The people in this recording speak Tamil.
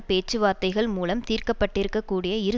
பேச்சு வார்த்தைகள் மூலம் தீர்க்கப்பட்டிருக்கக்கூடிய இரு